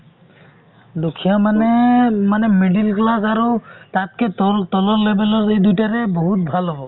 দুখীয়া মানে মানে middle class আৰু তাতকে তল তলৰ level ৰ এই দুইটাৰে বহুত ভাল হব ।